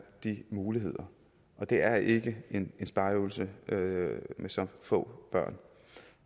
de muligheder og det er ikke en spareøvelse med så få børn